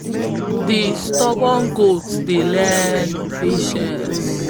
de stubborn goat dey learn patience after e don challenge de river spirit for de moonlight for de moonlight